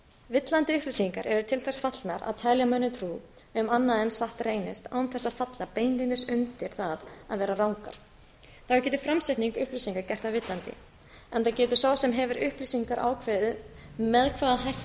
villandi upplýsingar eru til þess fallnar að telja mönnum trú um annað en satt reynist án þess að falla beinlínis undir það að vera rangar þá getur framsetning upplýsinga gert þær villandi enda getur sá sem hefur upplýsingar ákveðið með hvaða hætti þær